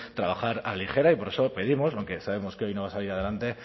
trabajar a la ligera y por eso pedimos aunque sabemos que hoy no va a salir adelante